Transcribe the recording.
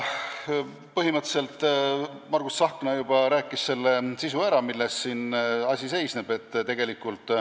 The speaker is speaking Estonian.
Põhimõtteliselt Margus Tsahkna juba rääkis eelnõu sisu ära, selgitades, milles asi seisneb.